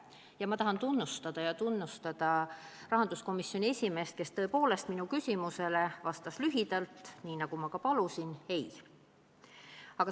Samas ma avaldan tunnustust rahanduskomisjoni esimehele, kes tõepoolest sellele minu küsimusele vastas lühidalt, nii nagu ma ka palusin: "Ei.